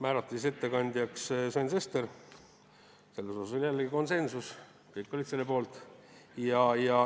Ettekandjaks määrati Sven Sester, selles oli jällegi konsensus, kõik olid selle poolt.